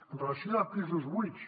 amb relació a pisos buits